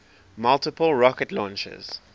multiple rocket launchers